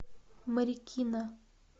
марикина